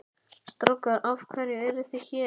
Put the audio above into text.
Strákar af hverju eruð þið hér?